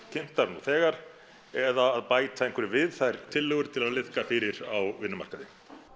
kynntar nú þegar eða að bæta einhverju við þær tillögur til að liðka fyrir á vinnumarkaði